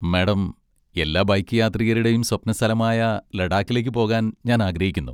Madam, എല്ലാ bike യാത്രികരുടെയും സ്വപ്ന സ്ഥലമായ ലഡാക്കിലേക്ക് പോകാൻ ഞാൻ ആഗ്രഹിക്കുന്നു.